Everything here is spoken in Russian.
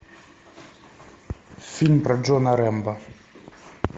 фильм про джона рэмбо